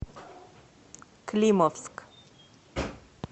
климовск